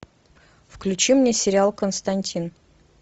включи мне сериал константин